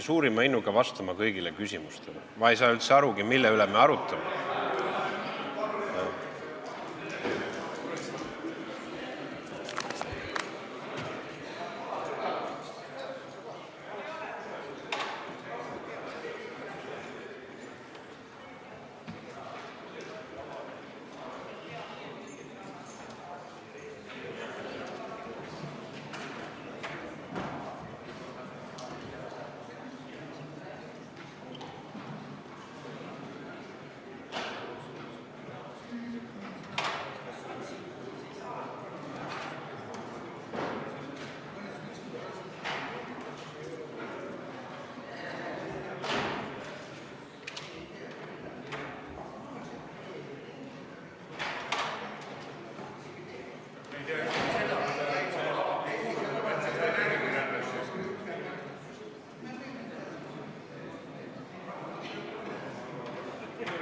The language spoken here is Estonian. V a h e a e g